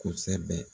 Kosɛbɛ